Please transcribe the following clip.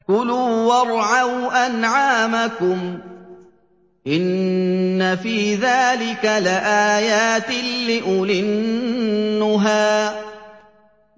كُلُوا وَارْعَوْا أَنْعَامَكُمْ ۗ إِنَّ فِي ذَٰلِكَ لَآيَاتٍ لِّأُولِي النُّهَىٰ